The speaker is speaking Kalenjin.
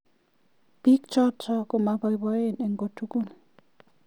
Pik chotok komabaibaen eng kotugul.